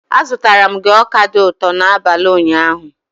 Azụtara m gị ọka dị ụtọ n'abalị ụnyaahụ.